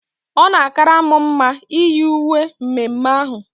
Ọ na akara m mma iyi uwe mme mme ahụ